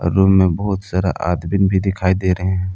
Room में बहोत सारा आदमीन भी दिखाई दे रहे हैं।